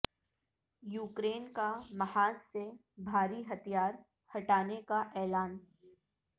Ukraine کا محاذ سے بھاری ہتھیار ہٹانے کا اعلان